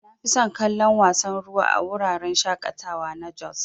Nafison kallon wasan ruwan a wuraren shaƙatawa na jos.